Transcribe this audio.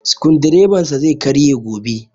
Sukudireban sa zai karye gobe